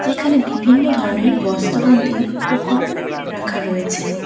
এখানে বিভিন্ন ধরনের বস্তাবন্দি উপকরণ রাখা রয়েছে।